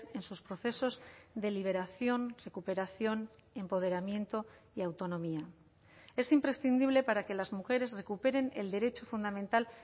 en sus procesos de liberación recuperación empoderamiento y autonomía es imprescindible para que las mujeres recuperen el derecho fundamental